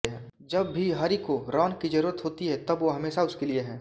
जब भी हॅरी को रॉन की ज़रूरत होती है तब वह हमेशा उसके लिए हैं